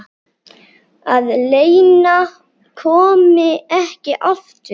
Að Lena komi ekki aftur.